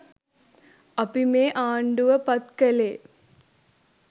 අපි මේ ආන්ඩුව පත් කලේ